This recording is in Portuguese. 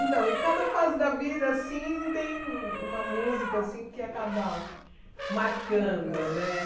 Então, em cada fase da vida, assim, tem uma música, assim, que acaba marcando, Marcando né?